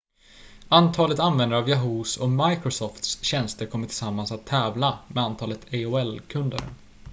antalet användare av yahoo!s och microsofts tjänster kommer tillsammans att tävla med antalet aol-kunder